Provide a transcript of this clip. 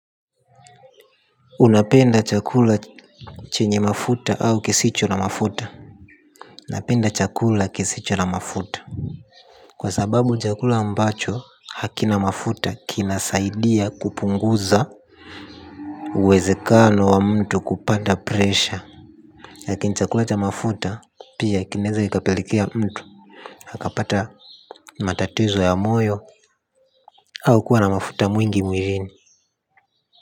Unapenda chakula chenye mafuta au kisicho na mafuta napenda chakula kisicho na mafuta. Kwa sababu chakula ambacho hakina mafuta kinasaidia kupunguza uwezekano wa mtu kupanda presha lakini chakula cha mafuta pia kinaweza kikapelekea mtu akapata matatizo ya moyo au kuwa na mafuta mingi mwilini.